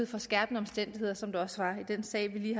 for skærpende omstændigheder som der også var i den sag vi